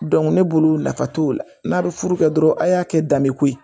ne bolo nafa t'o la n'a bɛ furu kɛ dɔrɔnw a y'a kɛ danbeko ye